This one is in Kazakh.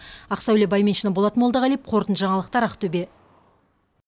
ақсәуле байменшина болат молдағалиев қорытынды жаңалықтар ақтөбе